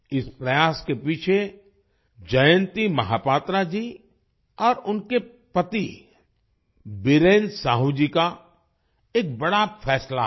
इस प्रयास के पीछे जयंती महापात्रा जी और उनके पति बीरेन साहू जी का एक बड़ा फैसला है